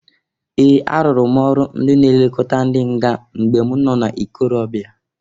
Ee! Arụrụ m ọrụ ndị na-elokota ndị nga mgbe m no n'ikorobia